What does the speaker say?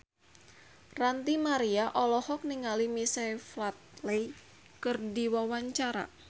Ranty Maria olohok ningali Michael Flatley keur diwawancara